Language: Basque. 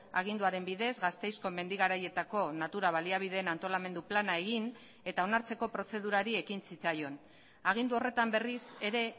aginduaren bidez gasteizko mendi garaietako natura baliabideen antolamendu plana egin eta onartzeko prozedurari ekin zitzaion agindu horretan berriz ere